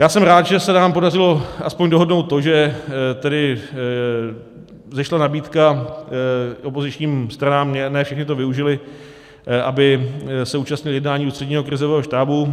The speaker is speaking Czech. Já jsem rád, že se nám podařilo aspoň dohodnout to, že tedy vzešla nabídka opozičním stranám, ne všichni to využili, aby se účastnili jednání Ústředního krizového štábu.